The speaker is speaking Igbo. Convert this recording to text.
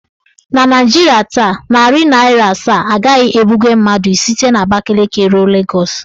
Na Naijiria taa, narị naịra asaa agaghị ebuga mmadụ site n'Abakaliki ruo Legọs.